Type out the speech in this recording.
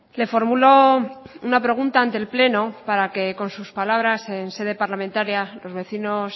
le formulo una pregunta ante el pleno para que con sus palabras en sede parlamentaria los vecinos